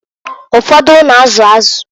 Ụfọdụ na-azụ azụ.